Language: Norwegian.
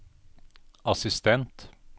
assistent